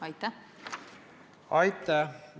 Aitäh!